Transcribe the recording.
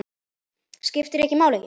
Skiptir ekki máli!